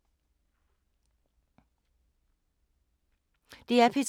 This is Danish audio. DR P3